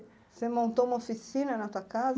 Você montou uma oficina na sua casa?